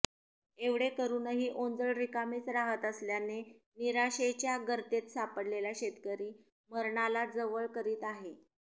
एवढे करूनही ओंजळ रिकामीच राहत असल्याने निराशेच्या गर्तेत सापडलेला शेतकरी मरणाला जवळ करीत आहे